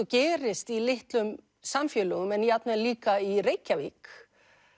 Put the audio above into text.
gerist í litlum samfélögum en jafnvel líka í Reykjavík